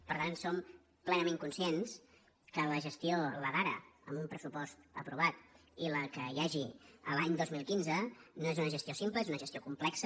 per tant som plenament conscients que la gestió la d’ara amb un pressupost aprovat i la que hi hagi l’any dos mil quinze no és una gestió simple és una gestió complexa